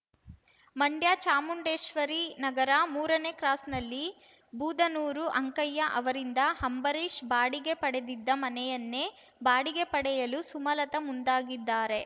ಮಂಡ್ಯ ಚಾಮುಂಡೇಶ್ವರಿ ನಗರ ಮೂರನೇ ಕ್ರಾಸ್‌ನಲ್ಲಿ ಬೂದನೂರು ಅಂಕಯ್ಯ ಅವರಿಂದ ಅಂಬರೀಷ್‌ ಬಾಡಿಗೆ ಪಡೆದಿದ್ದ ಮನೆಯನ್ನೇ ಬಾಡಿಗೆ ಪಡೆಯಲು ಸುಮಲತಾ ಮುಂದಾಗಿದ್ದಾರೆ